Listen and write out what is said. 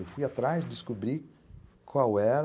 Eu fui atrás, descobri qual era...